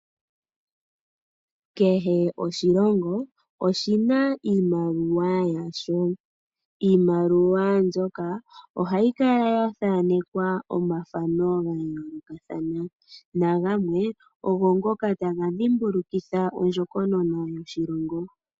Kehe oshilongo oshina iimaliwa yasho , iimaliwa ndjoka ohayi kala yathaanekwa omathano gayoolokathana nagamwe ogongoka taga dhimbulukitha ondjokonona yoshilongo.